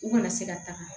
U kana se ka taga